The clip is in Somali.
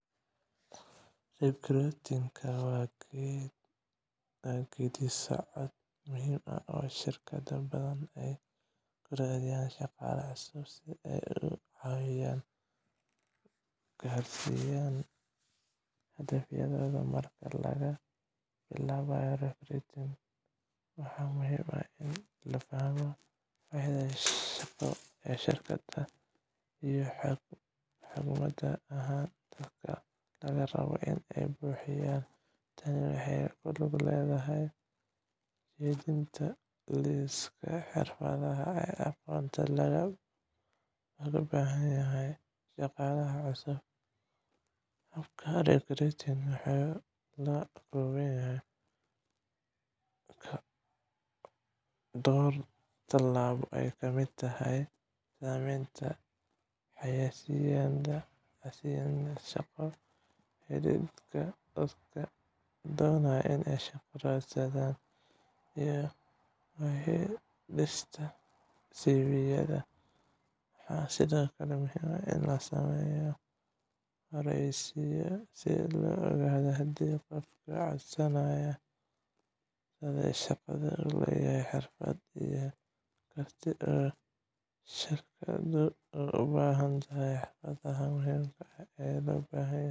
Recruiting-ka waa geedi socod muhiim ah oo shirkado badan ay ku raadiyaan shaqaale cusub si ay uga caawiyaan gaarsiinta hadafyadooda. Marka la bilaabayo recruiting, waxaa muhiim ah in la fahmo baahida shaqo ee shirkadda iyo xigmad ahaan dadka laga rabo in ay buuxiyaan. Tani waxay ku lug leedahay dejinta liisaska xirfadaha iyo aqoonta looga baahan yahay shaqaalaha cusub. Habka recruiting wuxuu ka koobnaan karaa dhowr talaabo, oo ay ka mid tahay sameynta xayeysiisyada shaqo, helidda dadka doonaya inay shaqo raadsadaan, iyo baadhista CV-yada. Waxaa sidoo kale muhiim ah in la sameeyo wareysiyo si loo ogaado haddii qofka codsaday shaqada uu leeyahay xirfadaha iyo kartida ay shirkaddu u baahan tahay. Xirfadaha muhiimka ah ee loo baahan yahay